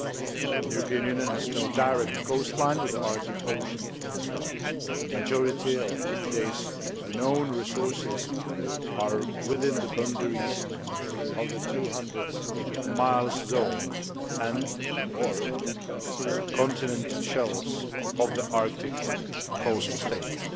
The European Union has no direct coastline with the Arctic Ocean. A majority of today's known resources are within the boundaries of the 200 mile zone and or continental shelves of the Arctic coastal states.